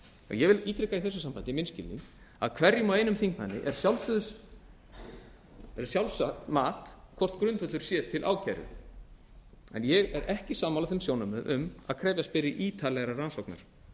ég vil ítreka í þessu sambandi minn skilning að hverjum og einum þingmanni er að sjálfsögðu er sjálfsagt mat hvort grundvöllur sé til ákæru en ég er ekki sammála sjónarmiðum um að krefjast beri ítarlegri rannsóknar